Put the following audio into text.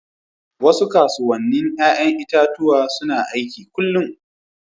Wasu kasuwannin 'ya'yan itatuwa suna aiki kullum.